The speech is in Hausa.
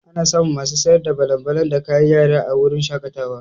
Ana samun masu sayar da balan-balan da kayan yara a wurin shaƙatawa.